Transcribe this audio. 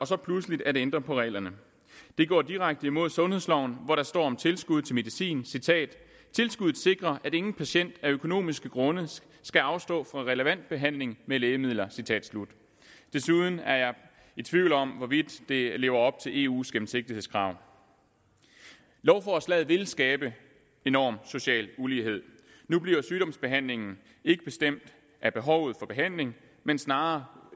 så pludseligt at ændre på reglerne det går direkte imod sundhedsloven hvor der står om tilskud til medicin citat tilskuddet sikrer at ingen patient af økonomiske grunde skal afstå fra relevant behandling med lægemidler citat slut desuden er jeg i tvivl om hvorvidt det lever op til eus gennemsigtighedskrav lovforslaget vil skabe enorm social ulighed nu bliver sygdomsbehandlingen ikke bestemt af behovet for behandling men snarere